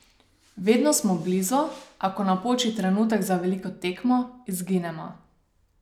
Vedno smo blizu, a ko napoči trenutek za veliko tekmo, izginemo.